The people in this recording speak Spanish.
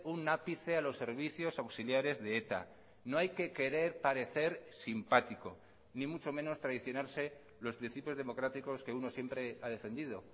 un ápice a los servicios auxiliares de eta no hay que querer parecer simpático ni mucho menos traicionarse los principios democráticos que uno siempre ha defendido